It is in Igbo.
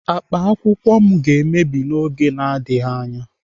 Akpa akwụkwọ m ga-emebi n'oge na-adịghị anya.